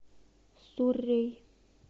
суррей